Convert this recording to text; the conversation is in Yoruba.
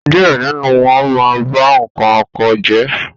díẹ̀ nínú wọn ma ń ba nǹkan oko jẹ́.